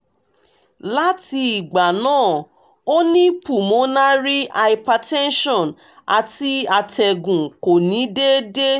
lati igba naa o ni pulmonary hypertension ati atẹgun ko ni deede